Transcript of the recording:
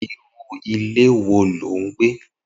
Irù ìlé wó ló n gbé